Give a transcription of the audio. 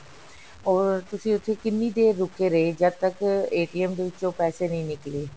or ਤੁਸੀਂ ਉੱਥੇ ਕਿੰਨੀ ਦੇਰ ਰੁਕੇ ਰਹੇ ਜਦ ਤੱਕ ਦੇ ਵਿੱਚੋ ਪੈਸੇ ਨਹੀਂ ਨਿਕਲੇ